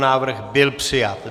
Návrh byl přijat.